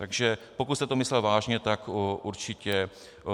Takže pokud jste to myslel vážně, tak určitě ano.